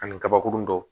Ani kabakurun dɔw